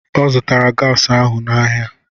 Ọ zụtara gasi ahụ n'ahịa.